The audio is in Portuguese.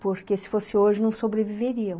Porque se fosse hoje não sobreviveriam.